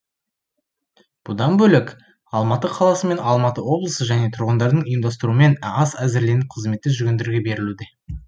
бұдан бөлек алматы қаласы мен алматы облысы және тұрғындардың ұйымдастыруымен ас әзірленіп қызметте жүргендерге берілуде